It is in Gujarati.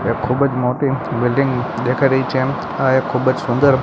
ખૂબ જ મોટી બિલ્ડીંગ દેખાઈ રહી છે આ એક ખૂબ જ સુંદર--